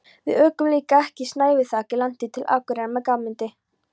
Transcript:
Við ókum líka yfir snæviþakið landið til Akureyrar með Guðmundi